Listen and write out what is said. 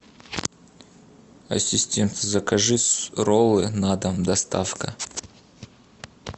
ассистент закажи роллы на дом доставка